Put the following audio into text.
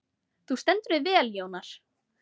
Þú stendur þig vel, Jónar!